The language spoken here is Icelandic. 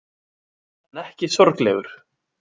En ekki sorglegur.